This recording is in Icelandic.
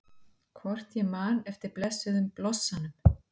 Hvort ég man eftir blessuðum blossanum?